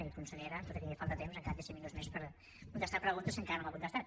i consellera tot i que li falta temps encara té cinc minuts més per contestar preguntes que encara no m’ha contestat